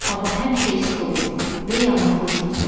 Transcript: Hava həmişə isti olur və yağıntılı keçir.